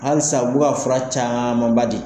Halisa u bɛ ka fura camanba di.